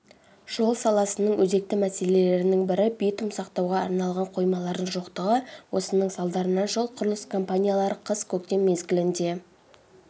жол саласының өзекті мәселелерінің бірі битум сақтауға арналған қоймалардың жоқтығы осының салдарынан жол-құрылыс компаниялары қыс-көктем мезгілінде